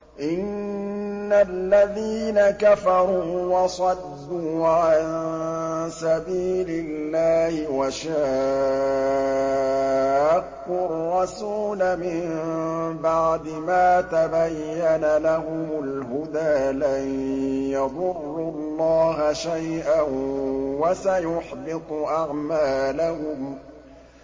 إِنَّ الَّذِينَ كَفَرُوا وَصَدُّوا عَن سَبِيلِ اللَّهِ وَشَاقُّوا الرَّسُولَ مِن بَعْدِ مَا تَبَيَّنَ لَهُمُ الْهُدَىٰ لَن يَضُرُّوا اللَّهَ شَيْئًا وَسَيُحْبِطُ أَعْمَالَهُمْ